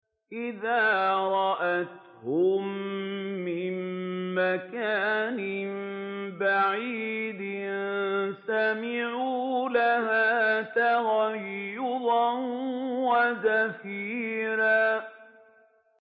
إِذَا رَأَتْهُم مِّن مَّكَانٍ بَعِيدٍ سَمِعُوا لَهَا تَغَيُّظًا وَزَفِيرًا